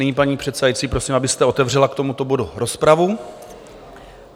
Nyní, paní předsedající, prosím, abyste otevřela k tomuto bodu rozpravu.